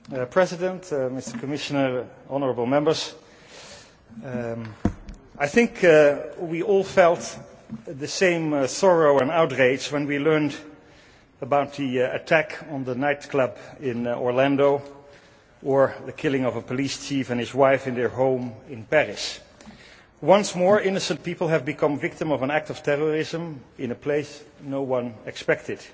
Madam President, President, Mr Commissioner, honourable Members, I think we all felt the same sorrow and outrage when we learned about the attack on the nightclub in Orlando or the killing of a police chief and his wife in their home in Paris. Once more, innocent people have become victims of an act of terrorism in a place no one expected.